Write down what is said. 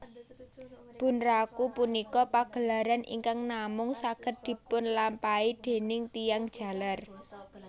Bunraku punika pagelaran ingkang namung saged dipunlampahi déning tiyang jaler